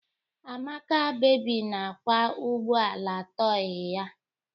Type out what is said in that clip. Amaka baby na-akwa ugbo ala tọị ya.